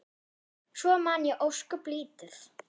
Svo man ég ósköp lítið.